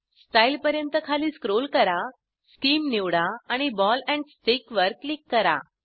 style पर्यंत खाली scroll करा शीम निवडा आणि बॉल एंड स्टिक वर क्लिक करा